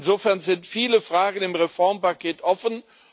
Insofern sind viele Fragen im Reformpaket offen.